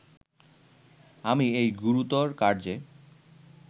আমি এই গুরুতর কার্যে